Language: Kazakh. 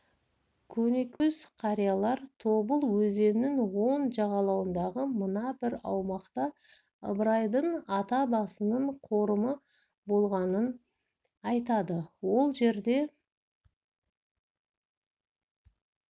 көнекөз қариялар тобыл өзенінің оң жағалауындағы мына бір аумақта ыбырайдың ата-басының қорымы болғанын айтады ол жерде